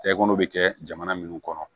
Tɛkɔnɔ bɛ kɛ jamana minnu kɔnɔ